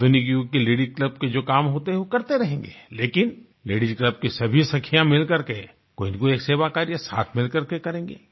आधुनिक युग के लेडीज क्लब के जो काम होते हैं वो करते रहेंगे लेकिन लेडीज क्लब की सभी सखियाँ मिलकर के कोई ना कोई एक सेवा कार्य साथ मिलकर के करेंगे